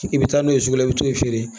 I bɛ taa n'o ye sugu la i bɛ t'o feere